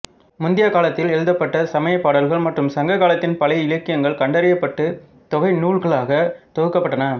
முந்தைய காலத்தில் எழுதப்பட்ட சமய பாடல்கள் மற்றும் சங்க காலத்தின் பழைய இலக்கியங்கள் கண்டறியப்பட்டு தொகை நூல்களாக தொகுக்கப்பட்டன